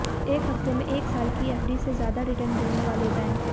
एक हफ्ते में एक साल की एफडी से ज्यादा रिटर्न देने वाले बैंक